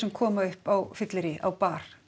koma upp á fylleríi á bar